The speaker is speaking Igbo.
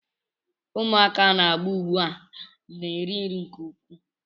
Ụmụaka a na-amụ ugbu a na-eri nri nke ukwuu